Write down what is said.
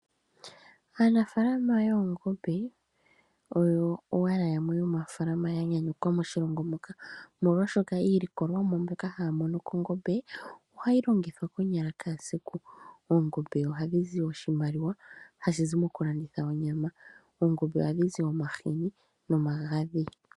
Aanafaalama yoongombe oyo owala yamwe aanafaalama ya nyanyukwa moshilongo muka, molwashoka iilikolomwa mbyoka haya mono kongombe ohayi longithwa konyala kehe esiku. Ongombe ohayi zi oshimaliwa hashi zi mokulanditha onyama. Oongombe ohadhi zi omahini nomagadhi.